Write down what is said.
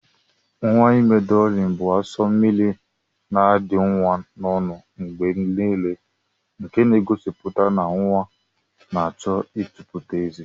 Nwa ime drọlin bu aso mmiri ina adi nwa na ọnụ mgbenile nke n'egosiputa na nwa na achọ itoputa eze.